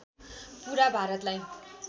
पुरा भारतलाई